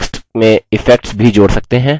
आप इस text में effects भी जोड़ सकते हैं